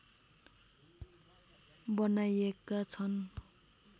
बनाइएका छन्